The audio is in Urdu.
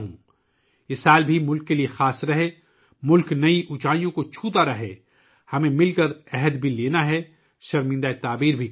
یہ سال بھی ملک کے لیے خاص ہو، ملک نئی بلندیوں کو چھوتا رہے، ہمیں مل کر ایک عہد بھی لینا ہے اور اسے پورا بھی کرنا ہے